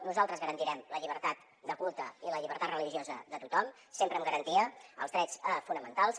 nosaltres garantirem la llibertat de culte i la llibertat religiosa de tothom sempre amb garantia dels drets fonamentals